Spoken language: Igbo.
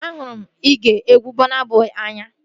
Ahụrụ m igee egwu Bọna Bọi n'anya